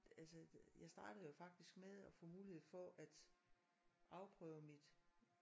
Altså jeg startede jo faktisk med at få mulighed for at afprøve mit